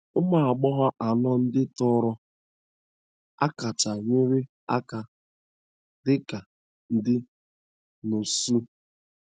Ụmụ agbọghọ anọ ndị tọrọ a kacha nyere aka dị ka ndị nọọsụ